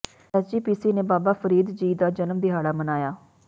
SGPC ਨੇ ਬਾਬਾ ਫਰੀਦ ਜੀ ਦਾ ਜਨਮ ਦਿਹਾੜਾ ਮਨਾਇਆ